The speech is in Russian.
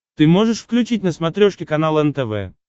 ты можешь включить на смотрешке канал нтв